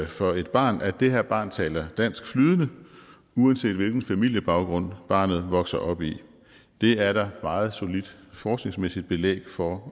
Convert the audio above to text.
for et barn at det her barn taler dansk flydende uanset hvilken familiebaggrund barnet vokser op i det er der meget solidt forskningsmæssigt belæg for